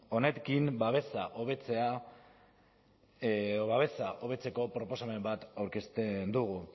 honekin babesa hobetzeko proposamen bat aurkezten dugu